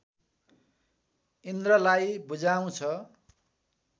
इन्द्रलाई बुझाउँछ